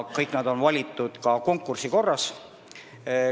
Kõik nad on valitud konkursi korras.